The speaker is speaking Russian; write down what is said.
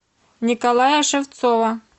николая шевцова